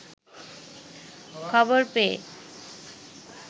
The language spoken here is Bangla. খবর পেয়ে